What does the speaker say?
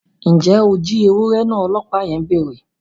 Njẹ o jí ewurẹ náà! ọlọpa yẹn béèrè